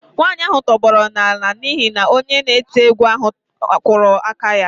Nwanyị ahụ tụbọrọ naanị n'ihi na onye na-eti egwu ahụ kụrụ aka ya